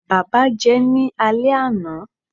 baba jẹ ní ale ana